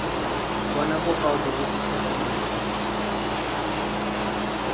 bona bokao jo bo fitlhegileng